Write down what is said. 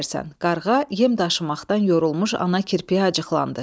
Qarğa yem daşımaqdan yorulmuş ana kirpiyi acıqlandı.